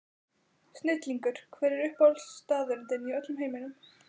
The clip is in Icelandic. Snillingur Hver er uppáhaldsstaðurinn þinn í öllum heiminum?